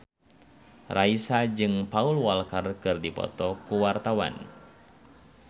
Raisa jeung Paul Walker keur dipoto ku wartawan